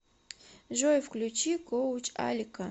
джой включи коуч алика